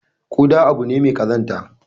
Kuda abu ne mai kazanta.